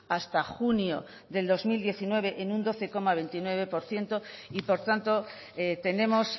hasta junio del dos mil diecinueve en un doce coma veintinueve por ciento y por tanto tenemos